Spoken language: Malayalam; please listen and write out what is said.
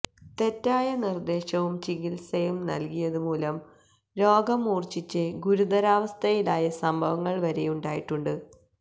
തെറ്റായ നിര്ദേശവും ചികിത്സയും നല്കിയതു മൂലം രോഗം മൂര്ഛിച്ച് ഗുരുതരാവസ്ഥയിലായ സംഭവങ്ങള് വരെയുണ്ടായിട്ടുണ്ട്